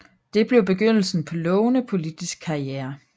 Det blev begyndelsen på lovende politisk karriere